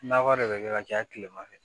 Nakɔ de bɛ kɛ ka caya kilema fɛ